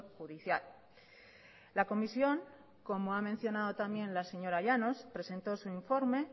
judicial la comisión como ha mencionado también la señora llanos presentó su informe